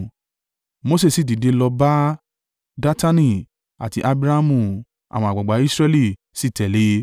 Mose sì dìde lọ bá Datani àti Abiramu àwọn àgbàgbà Israẹli sì tẹ̀lé.